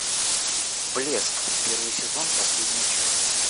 блеск первый сезон последняя часть